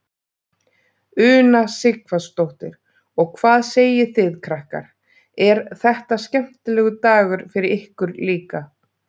Una Sighvatsdóttir: Og hvað segið þið krakkar, er þetta skemmtilegur dagur fyrir ykkur líka?